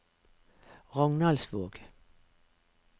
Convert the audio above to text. Rognaldsvåg